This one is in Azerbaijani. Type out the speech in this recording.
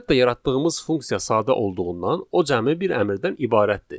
Əlbəttə yaratdığımız funksiya sadə olduğundan o cəmi bir əmrdən ibarətdir.